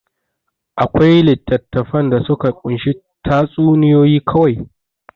Akwai littattafan da suka kunshi tatsuniyoyi kawai.